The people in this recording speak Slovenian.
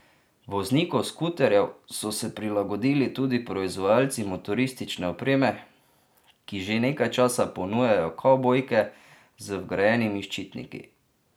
Voznikom skuterjev so se prilagodili tudi proizvajalci motoristične opreme, ki že nekaj časa ponujajo kavbojke z vgrajenimi ščitniki.